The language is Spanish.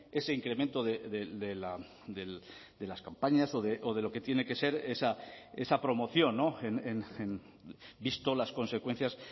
ese incremento de las campañas o de lo que tiene que ser esa promoción visto las consecuencias